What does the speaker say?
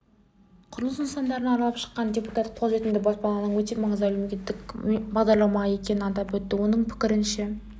құрылыс нысандарын аралап шыққан депутат қолжетімді баспананың өте маңызды әлеуметтік бағдарлама екенін атап өтті оның пікірінше